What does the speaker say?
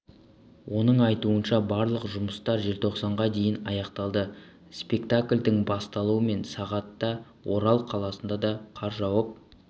оның айтуынша барлық жұмыстар желтоқсанға дейін аяқталады спектакльдің басталуы сағат да орал қаласында да қар жауып